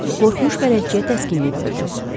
Cənab Buk qorxmuş bələdçiyə təskinlik verdi.